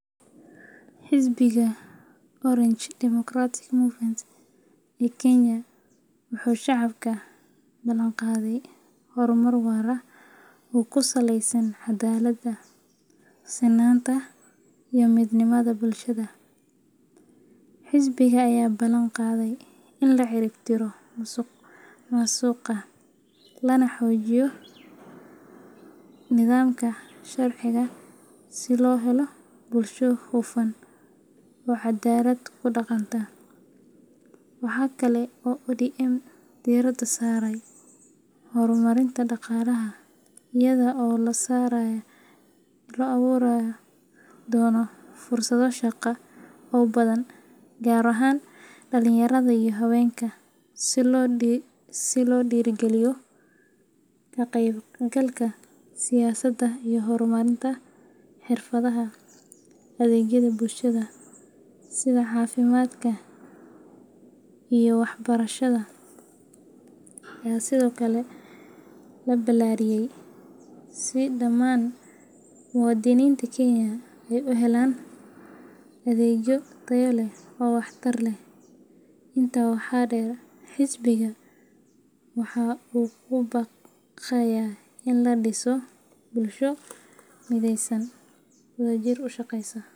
Xisbiga Orange Democratic Movement, ee Kenya waxa uu shacabka u balanqaaday horumar waara oo ku saleysan cadaaladda, sinaanta, iyo midnimada bulshada. Xisbiga ayaa ballan qaaday in la cirib tirayo musuqmaasuqa, lana xoojiyo nidaamka sharciga si loo helo bulsho hufan oo cadaalad ku dhaqanta. Waxa kale oo ODM diiradda saarayaa horumarinta dhaqaalaha iyada oo la abuuri doono fursado shaqo oo badan, gaar ahaan dhalinyarada iyo haweenka, si loo dhiirrigeliyo ka qaybgalka siyaasadda iyo horumarinta xirfadaha. Adeegyada bulshada sida caafimaadka iyo waxbarashada ayaa sidoo kale la ballaariyay, si dhammaan muwaadiniinta Kenya ay u helaan adeegyo tayo leh oo wax tar leh. Intaa waxaa dheer, xisbiga waxa uu ku baaqayaa in la dhiso bulsho mideysan oo wadajir u shaqeysa.